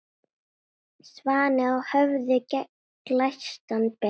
Svanni á höfði glæstan ber.